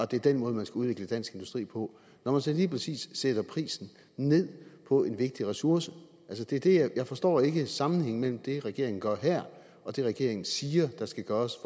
det er den måde man skal udvikle dansk industri på når man så lige præcis sætter prisen ned på en vigtig ressource jeg forstår ikke sammenhængen imellem det regeringen gør her og det regeringen siger der skal gøres